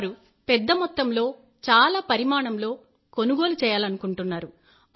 వారు పెద్దమొత్తంలో చాలా పరిమాణంలో కొనుగోలు చేయాలనుకుంటున్నారు